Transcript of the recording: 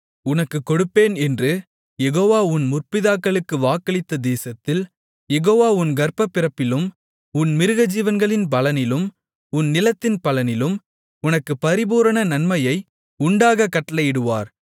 உனக்குக் கொடுப்பேன் என்று யெகோவா உன் முற்பிதாக்களுக்கு வாக்களித்த தேசத்தில் யெகோவா உன் கர்ப்பப்பிறப்பிலும் உன் மிருகஜீவன்களின் பலனிலும் உன் நிலத்தின் பலனிலும் உனக்குப் பரிபூரண நன்மை உண்டாகக் கட்டளையிடுவார்